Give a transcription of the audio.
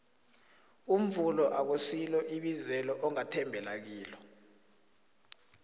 umvumo akusilo ibizelo ongathembela kilo